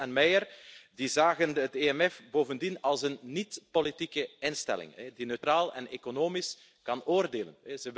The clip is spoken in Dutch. Gross en Meyer zagen het EMF bovendien als een niet-politieke instelling die neutraal en economisch kan oordelen.